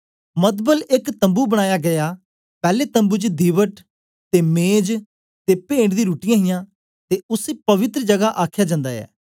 मतलब एक तम्बू बनाया गीया पैले तम्बू च दीवट ते मेज ते पेंट दी रूटटीयां हियां ते उसी पवित्र जगा आखया जन्दा ऐ